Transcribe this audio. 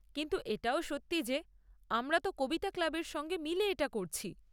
কিন্তু এটাও সত্যি যে আমরা তো কবিতা ক্লাবের সঙ্গে মিলে এটা করছি।